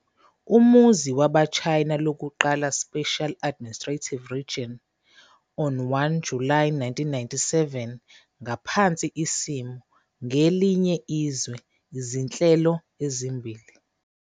Umuzi waba China lokuqala Special Administrative Region on 1 July 1997 ngaphansi isimiso "kwelinye izwe, izinhlelo ezimbili".